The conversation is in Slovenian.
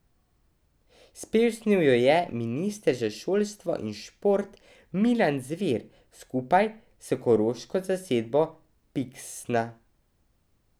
Spesnil jo je minister za šolstvo in šport Milan Zver skupaj s koroško zasedbo Piksna.